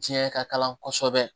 Diɲɛ ka kalan kosɛbɛ